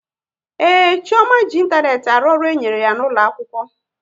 Ee, Chioma ji ịntanetị arụ ọrụ e nyere ya n'ụlọ akwụkwọ